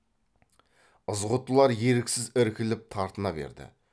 ызғұттылар еріксіз іркіліп тартына берді